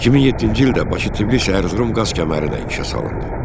2007-ci ildə Bakı-Tbilisi-Ərzurum qaz kəməri də işə salındı.